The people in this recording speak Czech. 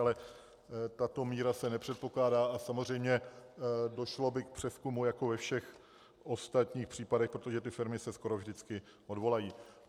Ale tato míra se nepředpokládá a samozřejmě došlo by k přezkumu jako ve všech ostatních případech, protože ty firmy se skoro vždycky odvolají.